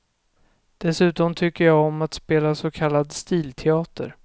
Dessutom tycker jag om att spela så kallad stilteater.